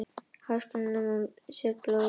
Háskólanemar létu dæla úr sér blóði